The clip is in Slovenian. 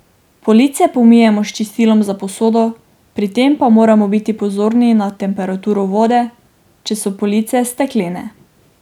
Police pomijemo s čistilom za posodo, pri tem pa moramo biti pozorni na temperaturo vode, če so police steklene.